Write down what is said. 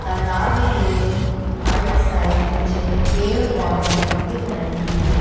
तलाब के आइड साइड मुझे पेड़ पौधे दिख रहे हैं।